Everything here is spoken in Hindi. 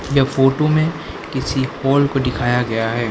यह फोटो में किसी हॉल को दिखाया गया है।